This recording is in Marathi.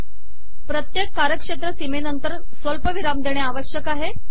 प्रत्येक कार्यक्षेत्र सीमे नंतर स्वल्पविराम देणे आवश्यक आहे